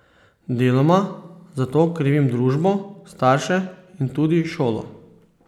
Deloma za to krivimo družbo, starše in tudi šolo.